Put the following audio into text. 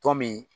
Tɔn min